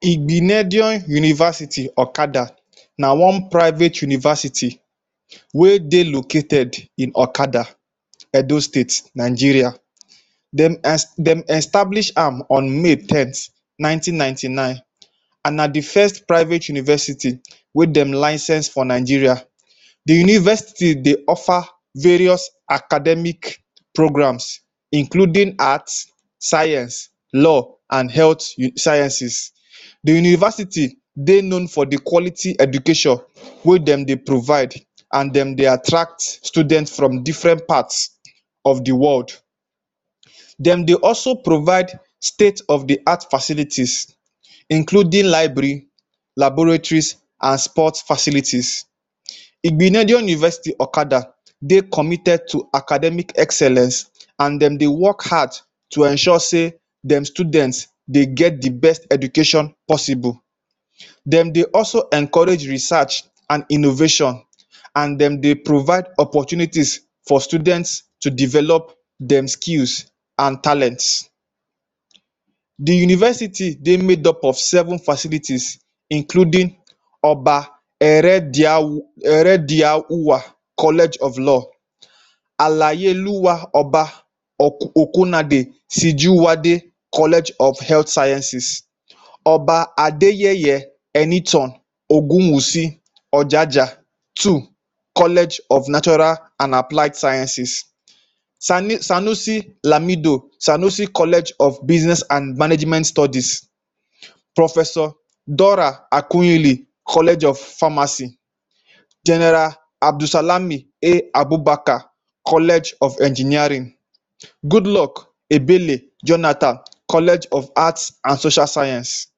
Igbinedion University, Okada, na one private university wey dey located in Okada, Edo State, Nigeria. Dem dem establish am on May 10th 1999 an na the first private university wey dem license for Nigeria. The university dey offer various academic programs including Art, Science, Law, and Health Sciences. The university dey known for the quality education wey dem dey provide, an dem dey attract student from different parts of the world. Dem dey also provide state of the art facilities including library, laboratories an sport facilities. Igbinedion University, Okada dey committed to academic excellence, an dem dey work hard to ensure sey dem students dey get the best education possible. Dem dey also encourage research an innovation an dem dey provide opportunities for students to develop dem skills an talents. The university dey made of seven facilities including Oba Erediahu Erediahuwa College of Law, Alayeluwa Oba Oku Okunade Sijuwade College of Health Sciences, Oba Adeyeye Enitan Ogunwusi Ojaja two College of Natural an Applied Sciences, Sani Sanusi Lamido Sanusi College of Business and Management Studies, Professor Dora Akunyili College of Pharmacy, General Abdulsalami A. Abubakar College of Engineering, Goodluck Ebele Jonathan College of Arts and Social Science.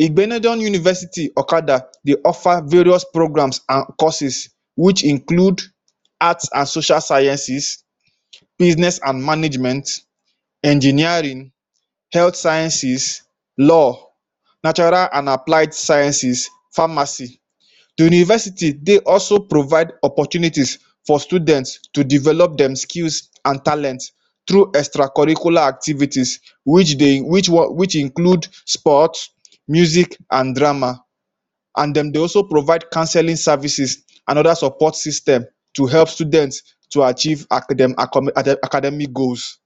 Igbinedion University, Okada dey offer various programs an courses which include Arts and Social Sciences, Business an Management, Engineering, Health Sciences, Law, Natural an Applied Sciences, Pharmacy. The university dey also provide opportunities for students to develop dem skills an talent through extracurricular activities which dey which one which include sport, music an drama. An dem dey also provide counselling services an other support system to help student to achieve academic goals.